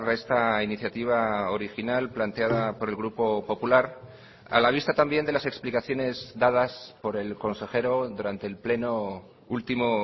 esta iniciativa original planteada por el grupo popular a la vista también de las explicaciones dadas por el consejero durante el pleno último